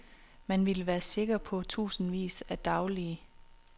Man ville være sikker på tusindvis af daglige.